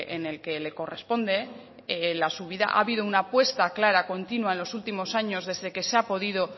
en el que le corresponde la subida ha habido una puesta clara continua en los últimos años desde que se ha podido